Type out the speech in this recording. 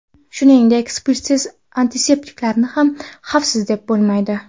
Shuningdek, spirtsiz antiseptiklarni ham xavfsiz, deb bo‘lmaydi.